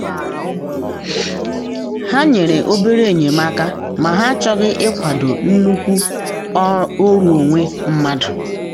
ha nyere obere enyemaka ma ha achọghị ịkwado nnukwu oru onwe mmadụ.